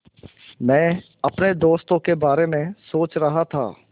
मैं अपने दोस्तों के बारे में सोच रहा था